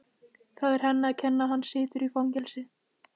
Það er henni að kenna að hann situr í fangelsi.